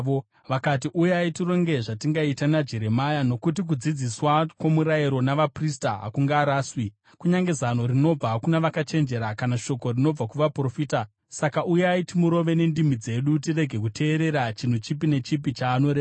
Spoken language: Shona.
Vakati, “Uyai tironge zvatingaita naJeremia; nokuti kudzidziswa kwomurayiro navaprista hakungaraswi, kunyange zano rinobva kuna vakachenjera, kana shoko rinobva kuvaprofita. Saka uyai, timurove nendimi dzedu tirege kuteerera chinhu chipi nechipi chaanoreva.”